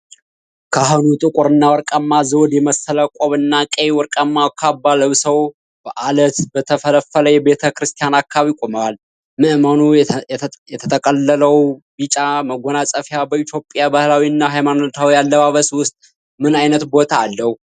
ካህኑ ጥቁርና ወርቃማ ዘውድ የመሰለ ቆብና ቀይ/ወርቃማ ካባ ለብሰው፣ በአለት በተፈለፈለ የቤተ ክርስቲያን አካባቢ ቆመዋል፡፡ ምእመኑ የተጠቀለለው ቢጫ መጎናጸፊያ በኢትዮጵያ ባህላዊ እና ሃይማኖታዊ አለባበስ ውስጥ ምን ዓይነት ቦታ አለው?